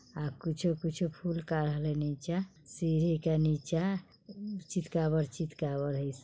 आ कुछों-कुछों फूल काढल छई नीचा सीढ़ी का नीचा चितकाबर-चितकाबर हइ।